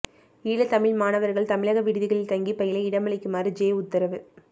ஈழத் தமிழ் மாணவர்கள் தமிழக விடுதிகளில் தங்கிப் பயில இடமளிக்குமாறு ஜெ உத்தரவு